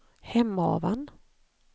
Hemavan